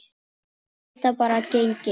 Geta bara gengið.